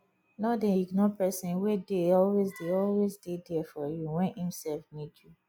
no dey ignore person wey dey always dey always dey there for you when im sef need you